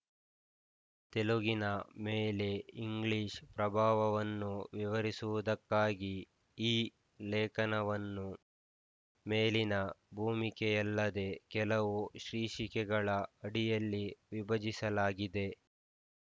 ತೆಲುಗಿನ ಮೇಲೆ ಇಂಗ್ಲೀಷ್ ಪ್ರಭಾವವನ್ನು ವಿವರಿಸುವುದಕ್ಕಾಗಿ ಈ ಲೇಖನವನ್ನು ಮೇಲಿನ ಭೂಮಿಕೆಯಲ್ಲದೆ ಕೆಲವು ಶೀರ್ಷಿಕೆಗಳ ಅಡಿಯಲ್ಲಿ ವಿಭಜಿಸಲಾಗಿದೆ